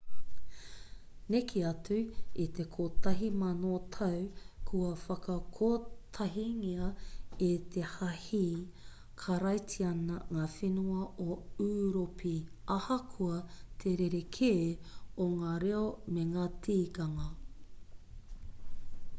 neke atu i te kotahi mano tau kua whakakotahingia e te hāhi karaitiana ngā whenua o ūropi ahakoa te rerekē o ngā reo me ngā tikanga